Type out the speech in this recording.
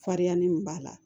Farinya ni min b'a la